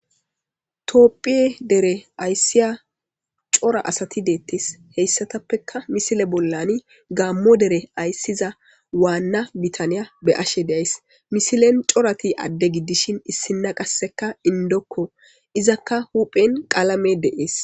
toopphiye dere ayssiya cora asati deettes heyssatappeka misile bollani gaammo dere ayssiza waanna bitaniya be ashe deays misilen corati adde giddishin issinna qasseka indokko izakka huphen qalame deees